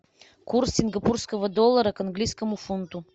курс сингапурского доллара к английскому фунту